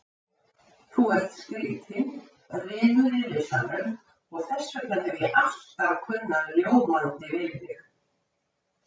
Þú ert skrýtinn, rymur í risanum og þessvegna hef ég alltaf kunnað ljómandi við þig.